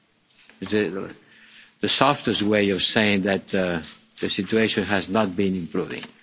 this is the softest way of saying that the situation has not been improving.